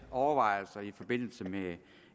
overvejelser i forbindelse med